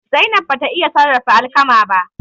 Zainab bata iya sarrafa alkama ba.